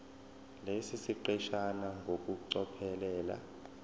lesi siqeshana ngokucophelela